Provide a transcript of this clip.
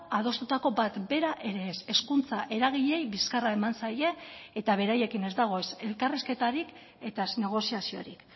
adostutako bat bera ere ez hezkuntza eragileei bizkarra eman zaie eta beraiekin ez dago elkarrizketarik eta negoziaziorik